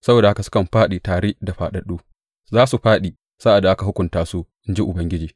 Saboda haka sukan fāɗi tare da fāɗaɗɗu; za su fāɗi sa’ad da aka hukunta su, in ji Ubangiji.